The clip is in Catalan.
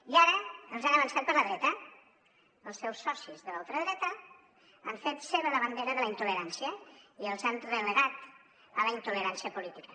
i ara els han avançat per la dreta els seus socis de la ultradreta han fet seva la bandera de la intolerància i els han relegat a la intolerància política